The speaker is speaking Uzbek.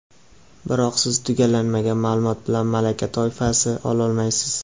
Biroq siz tugallanmagan maʼlumot bilan malaka toifasi ololmaysiz.